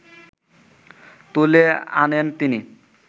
তুলে আনেন তিনি